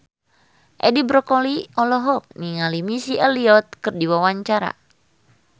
Edi Brokoli olohok ningali Missy Elliott keur diwawancara